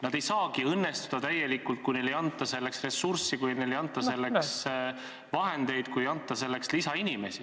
Nad ei saagi täielikult õnnestuda, kui neile ei anta selleks ressurssi, kui neile ei anta selleks vahendeid, kui neile ei anta selleks lisainimesi.